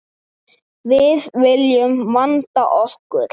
Við viljum vanda okkur.